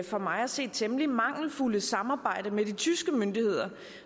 for mig at se temmelig mangelfulde samarbejde med de tyske myndigheder